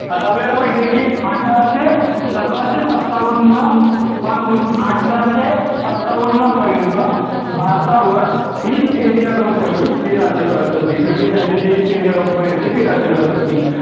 आता आपल्याला माहिती आहे की अठराशे सतराशे सत्तावन्न पासून अठराशे सत्तावन्न पर्यंत भारतावर east india company हे राज्य करत होती. म्हणजे त्यांची जी east india company होती ते राज्य करत होती.